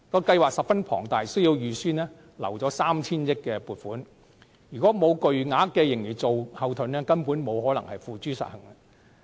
計劃十分龐大，需要預留 3,000 億元撥款，如果沒有巨額盈餘作後盾，根本不能付諸實行。